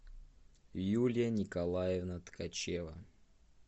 юлия николаевна ткачева